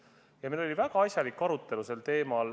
Meil oli sel teemal väga asjalik arutelu.